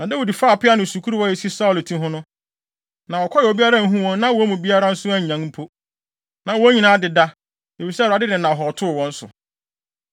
Na Dawid faa peaw no ne sukuruwa a esi Saulo ti ho no, na wɔkɔe a obiara anhu wɔn na wɔn mu biara nso annyan mpo. Na wɔn nyinaa adeda, efisɛ Awurade de nnahɔɔ too wɔn so.